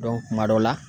kuma dɔ la